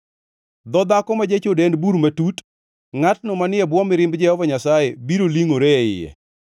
Dho dhako ma jachode en bur matut; ngʼatno manie bwo mirimb Jehova Nyasaye biro lingʼore e iye.